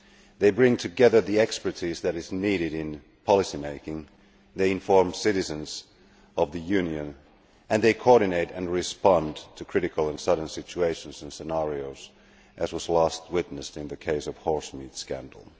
They bring together the expertise that is needed in policy making, they inform citizens of the Union and they coordinate and respond to critical and sudden situations and scenarios, as was last witnessed in the case of the horsemeat scandal.